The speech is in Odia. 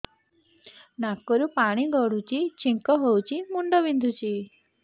ନାକରୁ ପାଣି ଗଡୁଛି ଛିଙ୍କ ହଉଚି ମୁଣ୍ଡ ବିନ୍ଧୁଛି